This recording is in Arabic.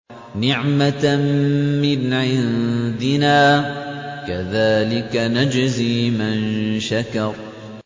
نِّعْمَةً مِّنْ عِندِنَا ۚ كَذَٰلِكَ نَجْزِي مَن شَكَرَ